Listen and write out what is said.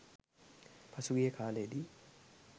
පසුගිය කාලයේදී